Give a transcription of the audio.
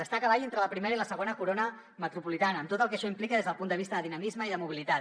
està a cavall entre la primera i la segona corones metropolitanes amb tot el que això implica des del punt de vista de dinamisme i de mobilitat